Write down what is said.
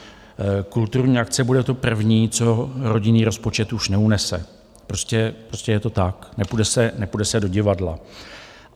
Kulturní akce bude to první, co rodinný rozpočet už neunese, prostě je to tak, nepůjde se do divadla.